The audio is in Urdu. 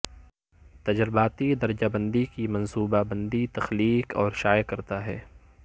تجرباتی درجہ بندی کی منصوبہ بندی تخلیق اور شائع کرتا ہے